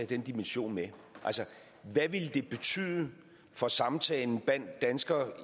den dimension med altså hvad ville det betyde for samtalen blandt danskere